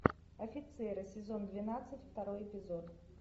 офицеры сезон двенадцать второй эпизод